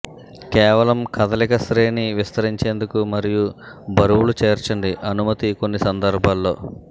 కేవలం కదలిక శ్రేణి విస్తరించేందుకు మరియు బరువులు చేర్చండి అనుమతి కొన్ని సందర్భాల్లో